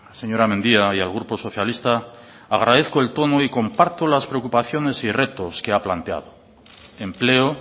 señora mendia y al grupo socialista agradezco el tono y comparto las preocupaciones y retos que ha planteado empleo